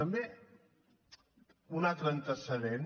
també un altre antecedent